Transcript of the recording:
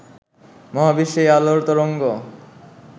মহাবিশ্বে এই আলোর তরঙ্গ